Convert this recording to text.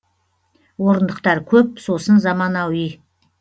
орындықтар көп сосын заманауи